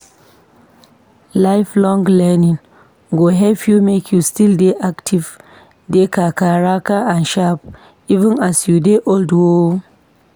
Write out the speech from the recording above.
Lifelong learning go help u make u still dey active dey kakaraka and sharp, even as u dey old oo